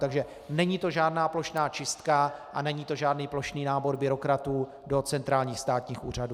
Takže není to žádná plošná čistka a není to žádný plošný nábor byrokratů do centrálních státních úřadů.